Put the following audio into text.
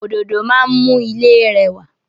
Òdòdó máa n mú ilé rẹwà